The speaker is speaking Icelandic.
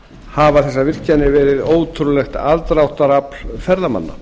hafa þessar virkjanir verið ótrúlegt aðdráttarafl ferðamanna